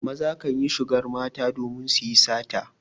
Maza kan yi shigar mata domin su yi sata.